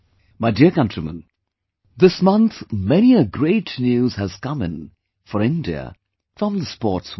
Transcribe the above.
My dear countrymen, this month many a great news has come in for India from the sports world